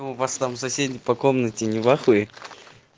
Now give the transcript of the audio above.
ну у вас там соседи по комнате не в ахуе